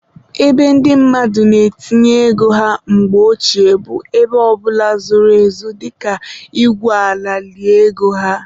Ebe ndị mmadụ na-etinye ego ha mgbe ochie bụ ebe ọbụla zoro ezo dịka igwu ala lie ego ha.